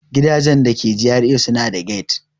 Gidajen da ke GRA suna da gate.